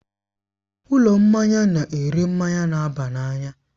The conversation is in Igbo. Ụlọ mmanya na-ere mmanya na-aba n'anya.